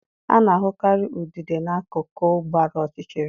A na-ahụkarị udide na-akuku gbara ọchịchịrị.